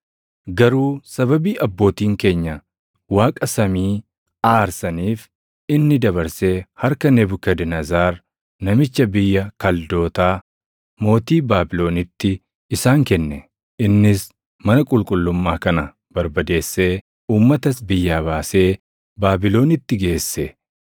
Garuu sababii abbootiin keenya Waaqa samii aarsaniif inni dabarsee harka Nebukadnezar namicha biyya Kaldootaa, mootii Baabilonitti isaan kenne; innis mana qulqullummaa kana barbadeessee uummatas biyyaa baasee Baabilonitti geesse.